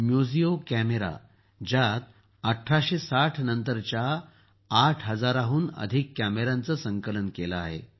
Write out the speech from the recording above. Museo camera ज्यात १८६० नंतरच्या ८ हजाराहूंन अधिक कॅमेऱ्यांचं संकलन केलं आहे